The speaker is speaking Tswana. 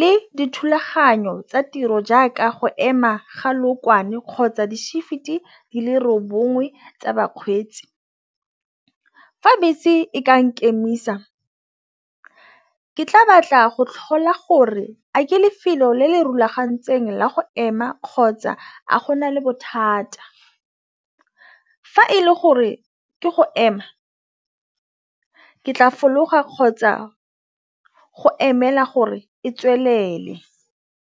le dithulaganyo tsa tiro jaaka go ema ga lookwane kgotsa di shift e dile roba nngwe tsa bakgweetsi. Fa bese e ka nkemisa ke tla batla go tlhola gore a ke lefelo le le rulagantsweng la go ema kgotsa tsa a go na le bothata. Fa e le gore ke go ema ke tla fologa kgotsa go emela gore e tswelele.